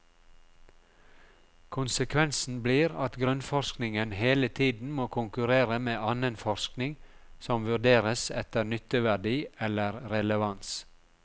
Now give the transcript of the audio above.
Konsekvensen blir at grunnforskningen hele tiden må konkurrere med annen forskning som vurderes etter nytteverdi eller relevans.